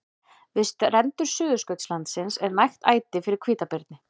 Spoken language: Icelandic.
Við strendur Suðurskautslandsins er nægt æti fyrir hvítabirni.